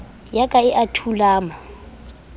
ya ka e a thulama